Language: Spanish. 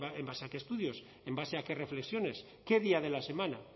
en base a qué estudios en base a qué reflexiones qué día de la semana